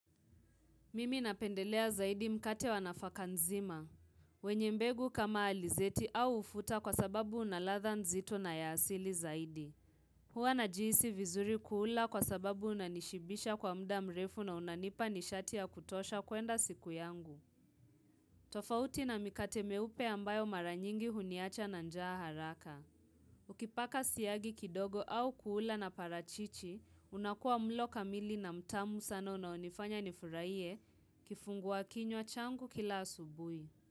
Mimi napendelea zaidi mkate wa nafaka nzima. Wenye mbegu kama alizeti au ufuta kwa sababu una ladha nzito na ya asili zaidi. Huwa najihisi vizuri kuula kwa sababu unanishibisha kwa mda mrefu na unanipa nishatia ya kutosha kuenda siku yangu. Tofauti na mikate meupe ambayo mara nyingi huniacha na njaa haraka. Ukipaka siyagi kidogo au kuula na parachichi, unakua mlo kamili na mtamu sana unaonifanya nifuraiye kifungua kinywa changu kila asubuhi.